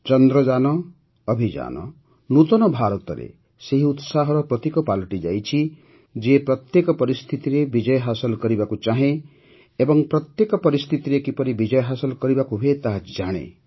ଚନ୍ଦ୍ରଯାନ ଅଭିଯାନ ନୂତନ ଭାରତରେ ସେହି ଉତ୍ସାହର ପ୍ରତୀକ ପାଲଟିଯାଇଛି ଯିଏ ପ୍ରତ୍ୟେକ ପରିସ୍ଥିତିରେ ବିଜୟ ହାସଲ୍ କରିବାକୁ ଚାହେଁ ଏବଂ ପ୍ରତ୍ୟେକ ପରିସ୍ଥିତିରେ କିପରି ବିଜୟ ହାସଲ କରିବାକୁ ହୁଏ ତାହା ଜାଣେ